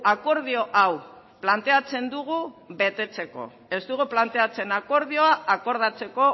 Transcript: akordio hau planteatzen dugu betetzeko ez dugu planteatzen akordioa akordatzeko